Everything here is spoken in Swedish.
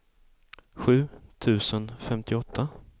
sju tusen femtioåtta